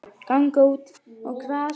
Ganga út á grasið.